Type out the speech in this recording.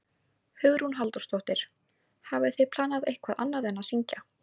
Hugrún Halldórsdóttir: Hafið þið planað eitthvað annað en að syngja?